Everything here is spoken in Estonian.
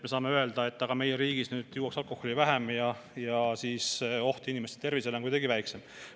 Me saame justkui öelda, et meie riigis juuakse alkoholi nüüd vähem ja oht inimeste tervisele on kuidagi väiksem.